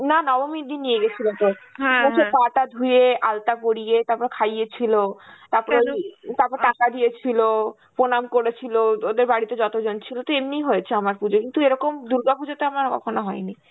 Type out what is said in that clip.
না নবমীর দিন নিয়ে গেছিল তোর. বসে পা-তা ধুয়ে, আল্টা পরিয়ে তারপর খাইয়েছিল. তারপর~ তারপর টাকা দিয়েছিল, প্রণাম করেছিল, ওদের বাড়িতে যতজন ছিল, তো এমনি হয়েছে আমার পুজো, কিন্তু এরকম দুর্গা পুজোতে আমার কখনো হয়নি.